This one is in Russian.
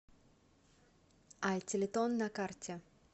ай телетон на карте